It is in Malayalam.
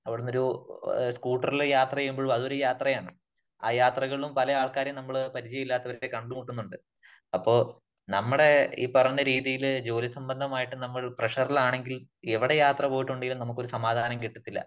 അവിടന്നൊരു സകൂട്ടറില് യാത്ര ചെയ്യുമ്പോൾ അതൊരു യാത്രയാണ്. ആ യാത്രകളിലും പല ആൾക്കാരെ നമ്മള് പരിചയമില്ലാത്തവരെ കണ്ടുമുട്ടുന്നുണ്ട്. അപ്പോ നമ്മുടെ ഈ പറഞ്ഞ രീതിയില് ജോലി സംബന്ധമായിട്ട് നമ്മൾ പ്രെഷറിൽ ആണെങ്കിൽ എവിടെ യാത്ര പോയിട്ടുണ്ടെങ്കിലും നമുക്ക് ഒരു സമാധാനം കിട്ടത്തില്ല.